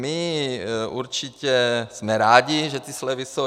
My určitě jsme rádi, že ty slevy jsou.